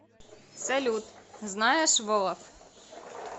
салют знаешь волоф